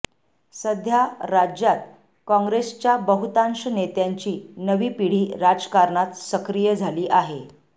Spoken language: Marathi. सध्या राज्यात काँग्रेसच्या बहुतांश नेत्यांची नवी पिढी राजकारणात सक्रिय झाली आहे